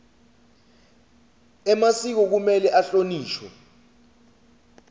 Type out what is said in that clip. emasiko kumele ahlonishwe